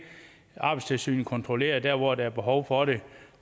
arbejdstilsynet kontrollerer der hvor der er behov for det